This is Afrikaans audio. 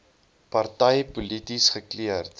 party polities gekleurd